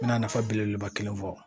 N bɛna nafa belebeleba kelen fɔ